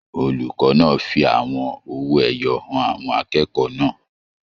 Olùkọ náà fí àwọn owó ẹyọ hàn àwọn akẹ́kọ̀ọ́ náà.